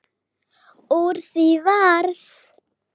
Úr því varð.